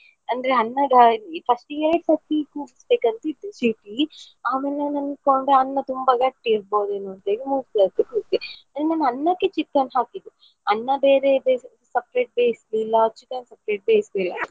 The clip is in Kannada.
ಅಂದ್ರೆ ಅನ್ನದ first ಆಮೇಲೆ ನಾನ್ ಅನ್ಕೊಂಡೆ ಅನ್ನ ತುಂಬ ಗಟ್ಟಿ ಇರ್ಬೋದೇನೊಂತೇಳಿ ನಿನ್ನೆ ನಾ ಅನ್ನಕ್ಕೆ chicken ಹಾಕಿದ್ದು ಅನ್ನ ಬೇರೆ ಬೇಯಿಸ್~ separate ಬೇಯ್ಸ್ಲಿಲ್ಲ chicken separate ಬೇಯ್ಸ್ಲಿಲ್ಲ.